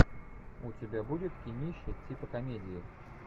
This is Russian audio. у тебя будет кинище типа комедии